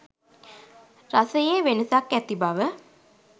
රසයේ වෙනසක් ඇති බව.